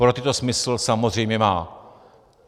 Pro ty to smysl samozřejmě má.